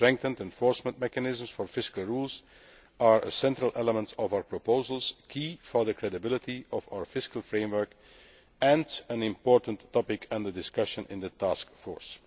Strengthened enforcement mechanisms for fiscal rules are a central element of our proposals, key to the credibility of our fiscal framework, and an important topic under discussion in the taskforce.